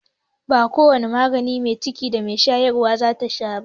Ba ko wane magani mai ciki da mai shayarwa zata sha ba.